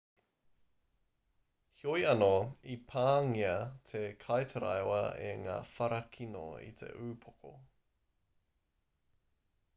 heoi anō i pāngia te kaitaraiwa e ngā whara kino ki te upoko